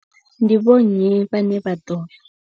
Ndi vho nnyi vhane vha ḓo.